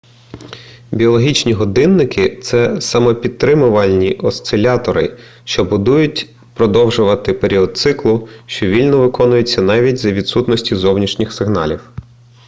біологічні годинники це самопідтримувальні осцилятори що будуть продовжувати період циклу що вільно виконується навіть за відсутності зовнішніх сигналів